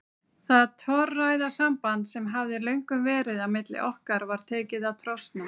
Það torræða samband sem hafði löngum verið á milli okkar var tekið að trosna.